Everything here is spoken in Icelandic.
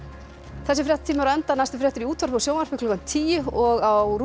þessi fréttatími er á enda næstu fréttir í útvarpi og sjónvarpi klukkan tíu og á